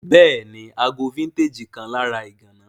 Béèni, ago vintage kan lára ìgana